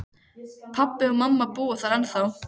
Pabbi og mamma búa þar ennþá.